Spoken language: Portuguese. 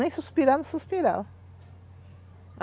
Nem suspirava, não suspirava.